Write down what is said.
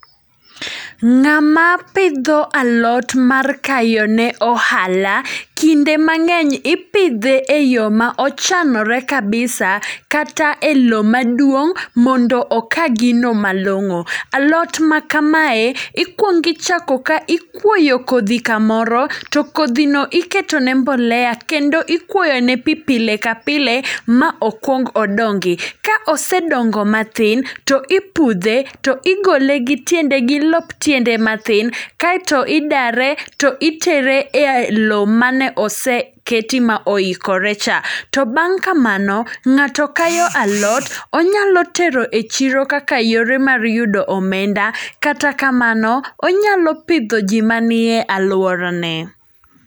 Ng'ama pidho alot mar kayo ne ohala, kinde mang'eny ipidhe e yo ma ochanore kabisa. Kata e lo maduong' mondo oka gino malong'o. Alot ma kamae, ikwongi chako ka ikwoyo kodhi kamoro, to kodhi no iketo ne mbolea kendo ikwoyo ne pi pile ka pile ma okwong odongi. Ka osedongo matin to ipudhe to igole gi tiende gi lop tiende matin, kaeto idare to itere e lo mane oseketi ma oikore cha. To bang' kamano, ng'ato kayo alot, onyalo tero e chiro kaka yore mar yudo omenda. Kata kamano, onyalo pidho ji manie e alwora ne.